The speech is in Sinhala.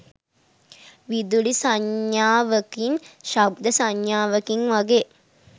විදුලි සංඥාවකින් ශබ්ද සංඥාවකින් වගේ